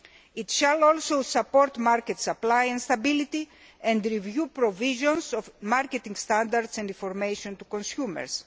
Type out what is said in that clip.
It shall also support market supply and stability and review provisions of marketing standards and information to consumers.